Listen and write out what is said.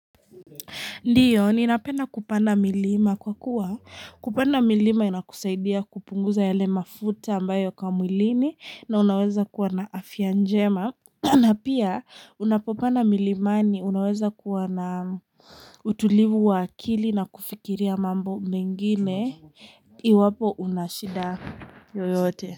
Ndiyo ninapenda kupanda milima kwa kuwa kupanda milima inakusaidia kupunguza yale mafuta ambayo yako mwilini na unaweza kuwa na afya njema na pia unapopanda milimani unaweza kuwa na utulivu wa akili na kufikiria mambo mengine iwapo unashida yoyote.